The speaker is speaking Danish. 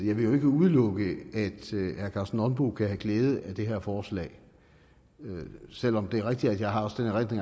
jo ikke udelukke at herre karsten nonbo kan have glæde af det her forslag selv om det er rigtigt at jeg også har den